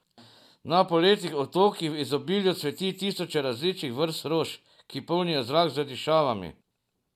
Na Poletnih otokih v izobilju cveti tisoče različnih vrst rož, ki polnijo zrak z dišavami.